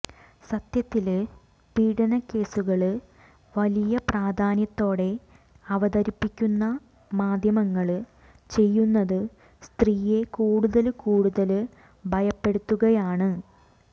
സത്യത്തില് പീഡനകേസുകള് വലിയ പ്രാധാന്യത്തോടെ അവതരിപ്പിക്കുന്ന മാധ്യമങ്ങള് ചെയ്യുന്നത് സ്ത്രീയെ കൂടുതല് കൂടുതല് ഭയപ്പെടുത്തുകയാണ്